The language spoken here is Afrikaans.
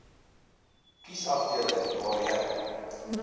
kiesafdeling waar jy